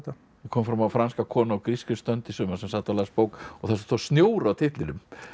kom fram á franska konu á grískri strönd í sumar sem sat og las bók og það stóð snjór á titlinum